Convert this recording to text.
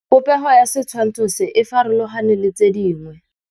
Popêgo ya setshwantshô se, e farologane le tse dingwe.